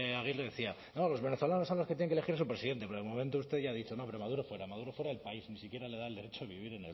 aguirre decía no los venezolanos son los que tienen que elegir a su presidente pero de momento usted ya ha dicho no pero maduro fuera maduro fuera del país ni siquiera le da el derecho a vivir